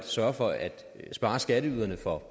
sørger for at skatteyderne får